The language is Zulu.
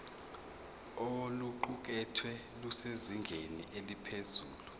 oluqukethwe lusezingeni eliphezulu